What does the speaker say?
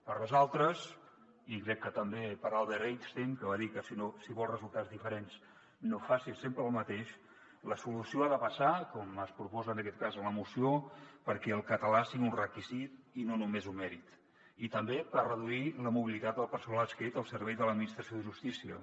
per nosaltres i crec que també per albert einstein que va dir que si vols resultats diferents no facis sempre el mateix la solució ha de passar com es proposa en aquest cas en la moció perquè el català sigui un requisit i no només un mèrit i també per reduir la mobilitat del personal adscrit al servei de l’administració de justícia